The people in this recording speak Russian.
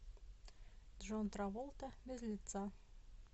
джон траволта без лица